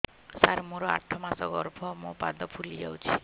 ସାର ମୋର ଆଠ ମାସ ଗର୍ଭ ମୋ ପାଦ ଫୁଲିଯାଉଛି